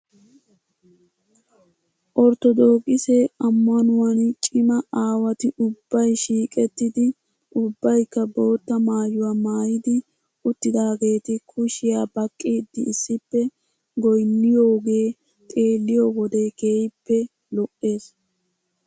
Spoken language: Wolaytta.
Orttodookise ammanuwaan cima aawati ubbay shiiqettidi ubbaykka bootta maayuwaa maayidi uttidaageeti kushiyaa baqqiiddi issippe goynniyoogee xeeliyoo wode keehippe lo'es .